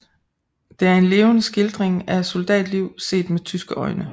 Det er en levende skildring af soldatliv set med tyske øjne